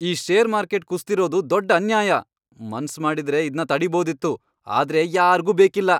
ಈ share market ಕುಸ್ದಿರೋದು ದೊಡ್ಡ್ ಅನ್ಯಾಯ! ಮನ್ಸ್ ಮಾಡಿದ್ರೆ ಇದ್ನ ತಡೀಬೋದಿತ್ತು, ಆದ್ರೆ ಯಾರ್ಗೂ ಬೇಕಿಲ್ಲ!